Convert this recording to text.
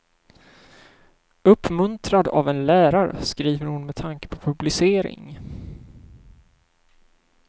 Uppmuntrad av en lärare skriver hon med tanke på publicering.